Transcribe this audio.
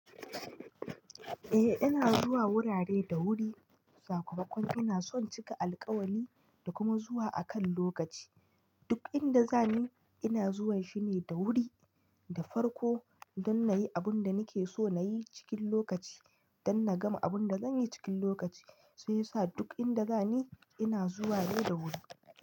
Eh ina zuwa wurare da wuri, sakamakon ina son cika alkawali da kuma zuwa akan lokaci. Duk inda za ni, ina zuwan shine da wuri da farko don na yi abin da nake so na yi cikin lokaci, don na gama abin da zan yi cikin lokaci. Shiyasa duk inda za ni, ina zuwa ne da wuri.